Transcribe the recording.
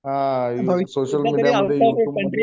हा social media वरती information search केलेली आहे, हा